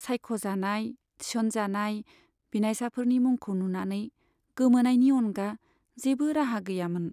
सायख'जानाय, थिसनजानाय बिनायसाफोरनि मुंखौ नुनानै गोमोनायनि अनगा जेबो राहा गैयामोन।